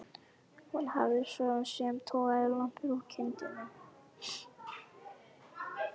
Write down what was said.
Hún hafði svo sem togað lambið úr kindinni.